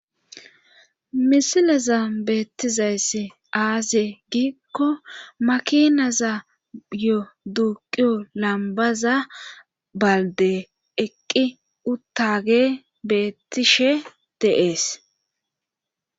Misilaza beettizayss aaze giikko makinaza yo duuqiyo lambaza balde eqqi uttage beettishe deees